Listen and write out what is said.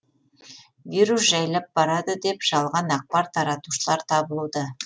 вирус жайлап барады деп жалған ақпар таратушылар табылуда